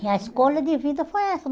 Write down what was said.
E a escolha de vida foi essa.